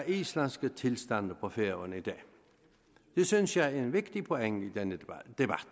islandske tilstande på færøerne i dag det synes jeg er en vigtig pointe i denne debat